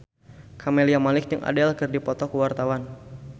Camelia Malik jeung Adele keur dipoto ku wartawan